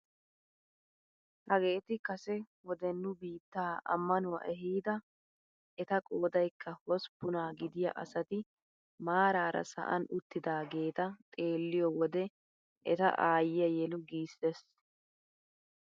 Hageti kase wode nu biittaa ammanuwaa eehida eta qoodayikka hosppunaa gidiyaa asati maarara sa'an uttidaageta xeelliyoo wode eta eyiyaa yelu giisses!